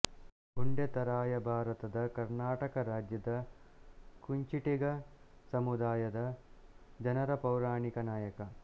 ಉಂಡೆತರಾಯ ಭಾರತದ ಕರ್ನಾಟಕ ರಾಜ್ಯದ ಕುಂಚಿಟಿಗ ಸಮುದಾಯದ ಜನರ ಪೌರಾಣಿಕ ನಾಯಕ